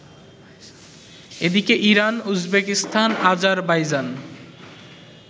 এদিকে Iran, Uzbekistan, Azerbaijan